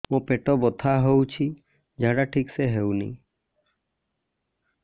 ମୋ ପେଟ ବଥା ହୋଉଛି ଝାଡା ଠିକ ସେ ହେଉନି